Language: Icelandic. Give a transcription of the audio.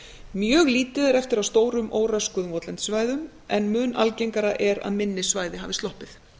mjög lítið er eftir af stórum óröskuðum votlendissvæðum en mun algengara er að minni svæði hafi sloppið